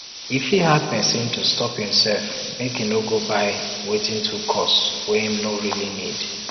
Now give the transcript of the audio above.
e fit hard person to stop imself make e no go buy wetin too cost wey im no really need